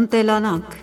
Ընտելանանք